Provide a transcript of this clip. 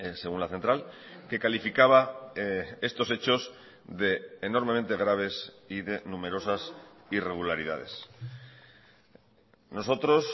según la central que calificaba estos hechos de enormemente graves y de numerosas irregularidades nosotros